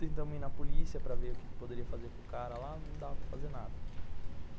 Tentamos ir na polícia para ver o que poderia fazer com o cara lá, não dá para fazer nada.